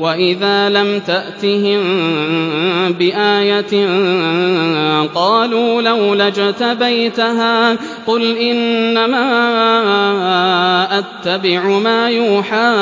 وَإِذَا لَمْ تَأْتِهِم بِآيَةٍ قَالُوا لَوْلَا اجْتَبَيْتَهَا ۚ قُلْ إِنَّمَا أَتَّبِعُ مَا يُوحَىٰ